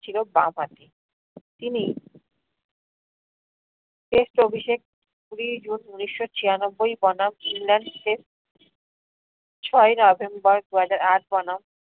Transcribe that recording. ছিল বাম হাতি। তিনি test অভিষেক কুড়ি june উনিশশো ছিয়ানব্বই বনাম england test ছয় november দুহাজার আট বনাম